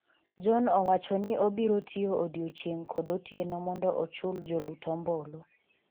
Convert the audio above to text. John owacho ni obiro tiyo odiochieng' kod otieno mondo ochul jolut ombulu